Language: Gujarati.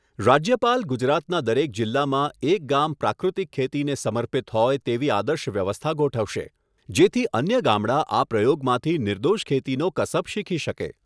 રાજ્યપાલ ગુજરાતના દરેક જિલ્લામાં એક ગામ પ્રાકૃતિક ખેતીને સમર્પિત હોય તેવી આદર્શ વ્યવસ્થા ગોઠવશે, જેથી અન્ય ગામડા આ પ્રયોગમાંથી નિર્દોષ ખેતીનો કસબ શીખી શકે.